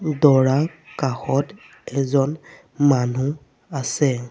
দৰা কাষত এজন মানুহ আছে।